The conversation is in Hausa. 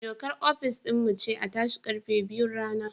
Dokar ofis din mu ce a tashi karfe biyun rana